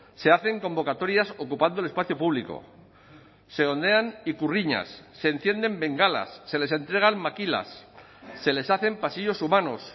se hacen convocatorias ocupando el espacio público se ondean ikurriñas se encienden bengalas se les entregan makilas se les hacen pasillos humanos